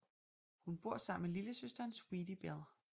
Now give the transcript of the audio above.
Hun bor sammen med lillesøsteren Sweetie Bell